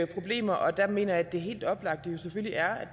problemer og der mener jeg at det helt oplagte jo selvfølgelig er at